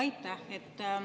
Aitäh!